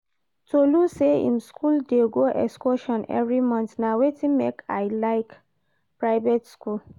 Tolu say im school dey go excursion every month, na wetin make I like private school